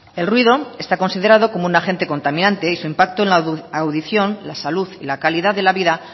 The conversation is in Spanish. el ruido está considerado como un agente contaminante y su impacto en la audición la salud y la calidad de la vida